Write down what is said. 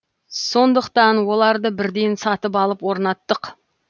сондықтан оларды бірден сатып алып орнаттық